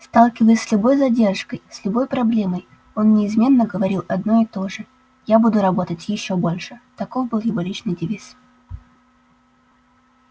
сталкиваясь с любой задержкой с любой проблемой он неизменно говорил одно и то же я буду работать ещё больше таков был его личный девиз